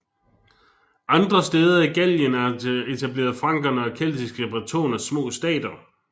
Andre steder i Gallien etablerede frankerne og keltiske bretoner små stater